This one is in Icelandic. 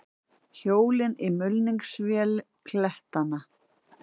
Hjól í mulningsvél klettanna.